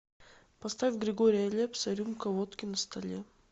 поставь григория лепса рюмка водки на столе